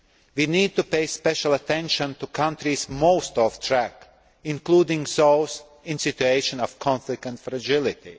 We need to pay special attention to countries most off track, including those in situations of conflict and fragility.